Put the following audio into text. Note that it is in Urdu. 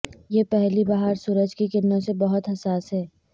یہ پہلی بہار سورج کی کرنوں سے بہت حساس ہے